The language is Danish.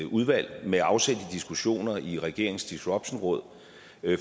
udvalg med afsæt i diskussioner i regeringens disruptionråd